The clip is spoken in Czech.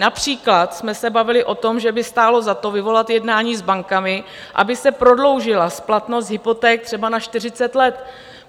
Například jsme se bavili o tom, že by stálo za to vyvolat jednání s bankami, aby se prodloužila splatnost hypoték třeba na 40 let.